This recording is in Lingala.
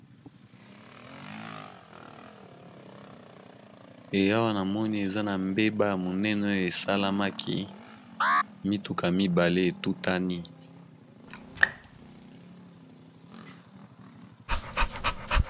Awa namoni eza na mbeba ya monene oyo esalamaki mituka mibale etutani